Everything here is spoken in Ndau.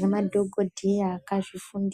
nemadhokhodheya akazvifundira.